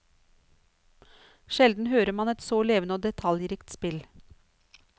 Sjelden hører man et så levende og detaljrikt spill.